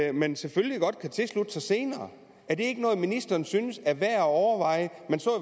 at man selvfølgelig godt kan tilslutte sig senere er det ikke noget ministeren synes er værd at overveje